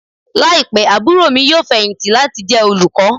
Laipẹ aburo mi yoo fẹhinti lati jẹ olukọ.